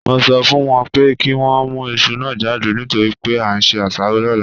Mo sọ fún wọn pé kí wọ́n mú iṣu náà jáde nítorí pé a ń se asaro lọ́la